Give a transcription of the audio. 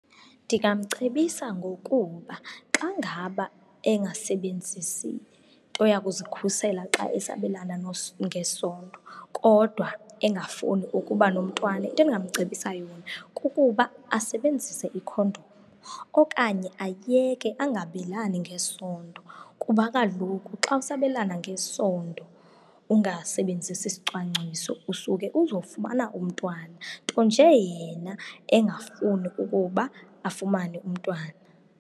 Ndingamcebisa ngokuba xa ngaba engasebenzisi nto yakuzikhusela xa esabelana ngesondo kodwa engafuni ukuba nomntwana, into endingamcebisa yona kukuba asebenzise ikhondom okanye ayeke, angabelani ngesondo. Kuba kaloku xa usabelana ngesondo ungasebenzisi sicwangciso usuke uzofumana umntwana, nto nje yena engafuni ukuba afumane umntwana.